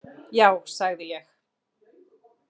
Já sagði ég.